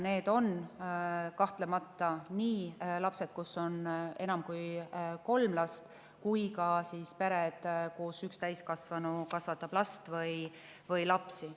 Need on kahtlemata nii, kus on enam kui kolm last, kui ka pered, kus üks täiskasvanu kasvatab last või lapsi.